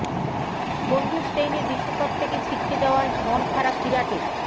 বন্ধু স্টেইনের বিশ্বকাপ থেকে ছিটকে যাওযায় মন খারাপ বিরাটের